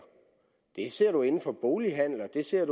det ser man inden for bolighandel og det ser